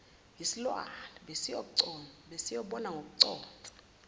yisilwane besiyobona ngokuconsa